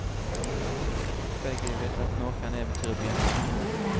Begge vet at nå kan eventyret begynne.